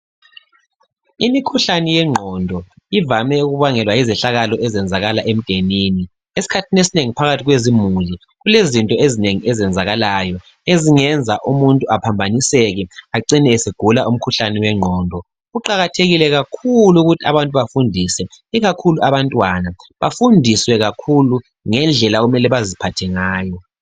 Imikhuhlane yengqondo ivame ukubangelwa yizehlakalo ezenzakala emndenini. Esikhathini esinengi phakathi kwezimuli kulezinto ezinengi ezenzakalayo ezingenza umuntu aphambaniseke acine esegula umkhuhlane wengqondo. Kuqakathekile kakhulu ukuthi abantu bafundise ikakhulu abantwana bafundiswe kakhulu ngendlela okumele baziphathe ngayo.